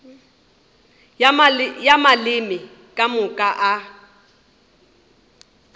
ya maleme ka moka a